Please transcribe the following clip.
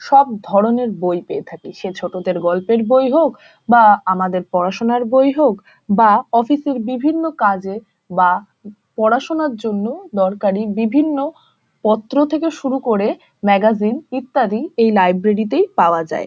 সব ধরণের বই পেয়ে থাকি সে ছোটদের গল্পের বই হোক বা আমাদের পড়াশুনার বই হোক বা অফিস এর বিভিন্ন কাজের বা পড়াশুনার জন্য দরকারি বিভিন্ন পত্র থেকে শুরু করে ম্যাগাজিন ইত্যাদি এই লাইব্রেরি তেই পাওয়া যায় ।